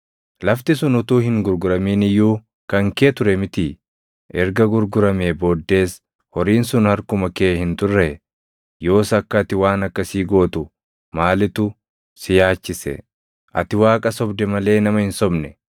Lafti sun utuu hin gurguramin iyyuu kan kee ture mitii? Erga gurguramee booddees horiin sun harkuma kee hin turree? Yoos akka ati waan akkasii gootu maalitu si yaachise? Ati Waaqa sobde malee nama hin sobne.”